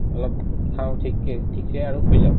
অলপ খাও ঠিককে ঠিকছে আৰু শুই যাও